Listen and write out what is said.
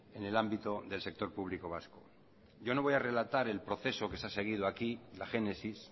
en el ámbito del sector público vasco yo no voy a relatar el proceso que se ha seguido aquí la génesis